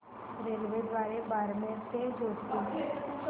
रेल्वेद्वारे बारमेर ते जोधपुर